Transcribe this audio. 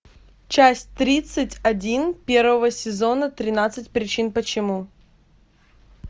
часть тридцать один первого сезона тринадцать причин почему